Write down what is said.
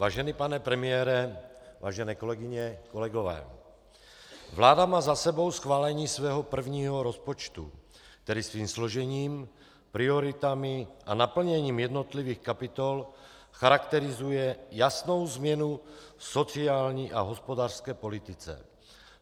Vážený pane premiére, vážené kolegyně, kolegové, vláda má za sebou schválení svého prvního rozpočtu, který svým složením, prioritami a naplněním jednotlivých kapitol charakterizuje jasnou změnu v sociální a hospodářské politice.